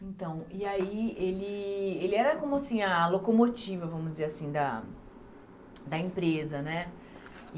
Então, e aí ele ele era como assim ah a locomotiva, vamos dizer assim, da da empresa, né?